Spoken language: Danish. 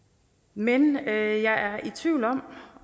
men jeg er i tvivl om